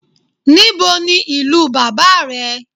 Níbo ní ìlú bàbá rẹ̀